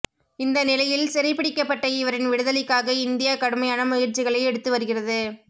இந்தநிலையில் சிறைபிடிக்கப்பட்ட இவரின் விடுதலைக்காக இந்தியா கடுமையான முயற்சிகளை எடுத்து வருகிறது